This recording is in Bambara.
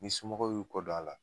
N'i somɔw y'u kɔ don a la